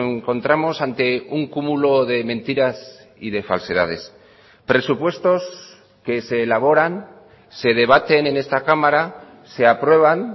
encontramos ante un cúmulo de mentiras y de falsedades presupuestos que se elaboran se debaten en esta cámara se aprueban